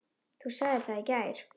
Þú sagðir það í gær.